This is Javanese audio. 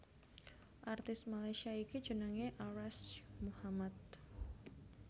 Artis Malaysia iki jenengé Arash Muhammad